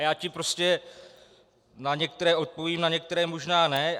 A já ti prostě na některé odpovím, na některé možná ne.